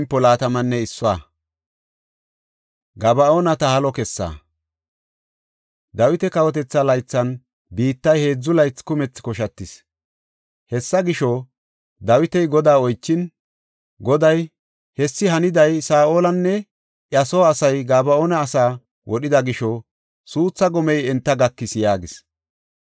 Dawita kawotetha laythan biittay heedzu laythi kumethi koshatis. Hessa gisho, Dawiti Godaa oychin, Goday, “Hessi haniday Saa7olinne iya soo asay Gaba7oona asaa wodhida gisho suuthaa gomey enta gakis” yaagis.